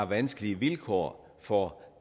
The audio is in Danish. vanskelige vilkår for